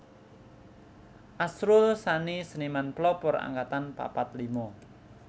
Asrul Sani Seniman Pelopor Angkatan papat lima